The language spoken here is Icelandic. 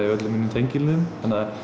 tengiliðum